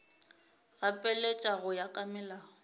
gapeletša go ya ka molao